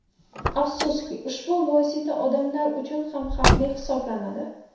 Afsuski, ushbu vosita odamlar uchun ham xavfli hisoblanadi.